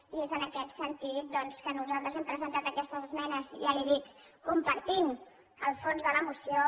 i és en aquest sentit doncs que nosaltres hem presentat aquestes esmenes ja li ho dic compartint el fons de la moció